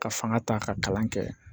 Ka fanga ta ka kalan kɛ